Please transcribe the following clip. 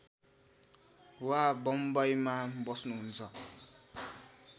वा बम्बईमा बस्नुहुन्छ